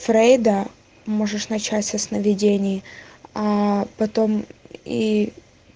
фрейда можешь начать со сновидений а потом и